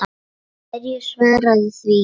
Hverju svararðu því?